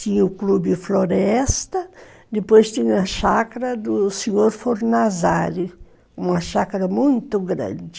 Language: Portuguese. Tinha o clube floresta, depois tinha a chacra do senhor Fornazari, uma chacra muito grande.